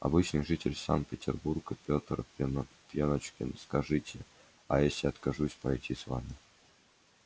обычный житель санкт-петербурга петр пеночкин скажите а если я откажусь пройти с вами